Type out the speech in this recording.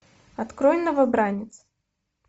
открой новобранец